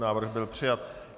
Návrh byl přijat.